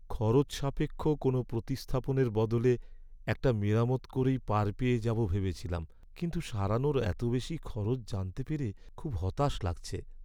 খরচসাপেক্ষ কোনও প্রতিস্থাপনের বদলে একটা মেরামত করেই পার পেয়ে যাবো ভেবেছিলাম, কিন্তু সারানোর এত বেশি খরচ জানতে পেরে খুব হতাশ লাগছে।